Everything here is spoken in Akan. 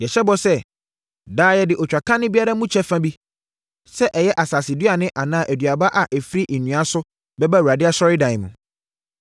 “Yɛhyɛ bɔ sɛ, daa yɛde otwakane biara mu kyɛfa bi, sɛ ɛyɛ asaseduane anaa aduaba a ɛfiri nnua so bɛba Awurade Asɔredan mu.